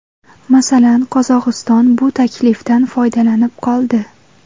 Masalan, Qozog‘iston bu taklifdan foydalanib qoldi.